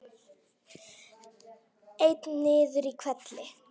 Einn niður í hvelli.